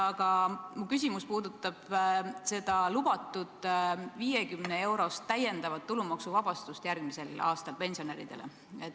Aga minu küsimus puudutab lubatud 50-eurost täiendavat pensionäride tulumaksuvabastust järgmisel aastal.